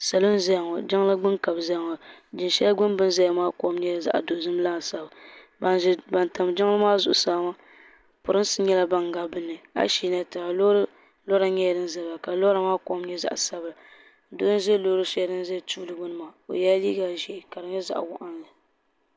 Salɔ n ʒayaŋɔ jiŋligbuni ka bɛ ʒɛyaŋɔ. jiŋ sheli gbuni bini ʒayaŋɔ nyɛla zaɣi dozim laasabu ban tam jiŋli maa zuɣu saa maa. pirinsi nyɛla ban gaadin nimaani. asheela tiŋa lɔra ban ʒanimaa ni. ka lɔra maa kom nyɛ zaɣi sabila doo n ʒɛ lɔɔri shelidin nyɛ tuuli gbuni maa ɔ yela liiga ʒɛɛ kadi nyɛ zaɣi waɣinli.